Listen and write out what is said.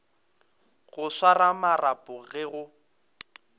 go swara marapo ge go